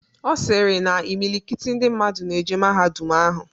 Ọ sịrị na imilikiti ndị mmadụ na-eje mahadum ahụ.